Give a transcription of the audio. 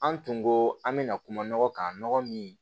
An tun ko an bɛna kuma nɔgɔ kan nɔgɔ min